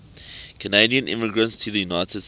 canadian immigrants to the united states